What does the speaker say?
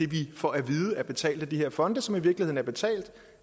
vi får at vide er betalt af de her fonde som i virkeligheden er betalt